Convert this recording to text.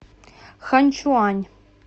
ханьчуань